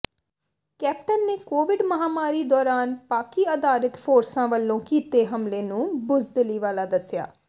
captain ਨੇ Covid ਮਹਾਮਾਰੀ ਦੌਰਾਨ ਪਾਕਿ ਆਧਾਰਿਤ ਫੋਰਸਾਂ ਵੱਲੋਂ ਕੀਤੇ ਹਮਲੇ ਨੂੰ ਬੁੱਜ਼ਦਿਲੀ ਵਾਲਾ ਦੱਸਿਆ